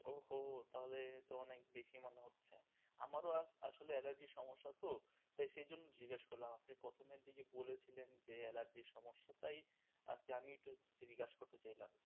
ও হো তাহলে তো অনেক বেশি মনে হচ্ছে. আমার ও আসলে অ্যালার্জির সমস্যা তো তাই সেই জন্যেই একটু জিজ্ঞাসা করলাম. আপনি প্রথমের দিকে বলেছিলেন যে অ্যালার্জির সমস্যা তাই আচ্ছা আমি একটু জিজ্ঞাসা করতে চাইলাম,